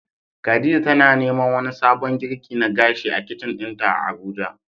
khadija tana neman wani sabon girki na gashi a kicin dinta Abuja.